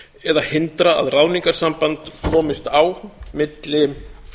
eða hindra að ráðningarsamband komist á milli